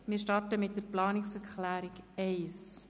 Wir starten mit der Planungserklärung 1.